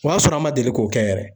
O y'a sɔrɔ an ma deli k'o kɛ yɛrɛ.